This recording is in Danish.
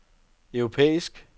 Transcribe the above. europæisk